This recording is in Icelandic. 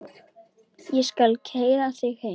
Ég skal keyra þig heim.